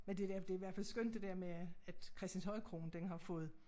Men det da det i hvert fald skønt det dér med at Christianshøjkroen den har fået